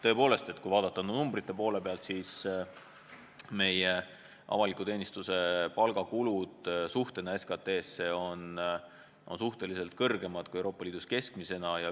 Tõepoolest, kui vaadata numbrite poole pealt, siis näeme, et meie avaliku teenistuse palgakulud on võrreldes SKT-ga suhteliselt suuremad kui Euroopa Liidus keskmiselt.